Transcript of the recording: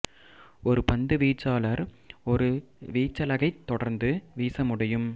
ஒரு பந்து வீச்சாளர் ஒரு வீச்சலகைத் தொடர்ந்து வீச முடியும்